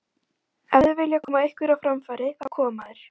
Ef þeir vilja koma einhverju á framfæri, þá koma þeir.